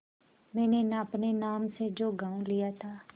मैंने अपने नाम से जो गॉँव लिया था